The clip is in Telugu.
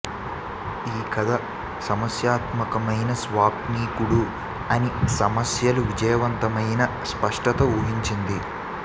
ఈ కథ సమస్యాత్మకమైన స్వాప్నికుడు అని సమస్యలు విజయవంతమైన స్పష్టత ఊహించింది